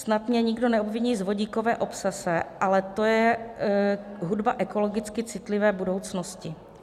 Snad mě nikdo neobviní z vodíkové obsese, ale to je hudba ekologicky citlivé budoucnosti.